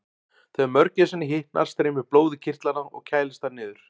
Þegar mörgæsinni hitnar streymir blóð í kirtlana og kælist þar niður.